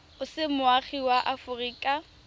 o se moagi wa aforika